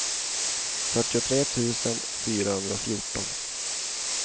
fyrtiotre tusen fyrahundrafjorton